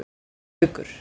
Gaukur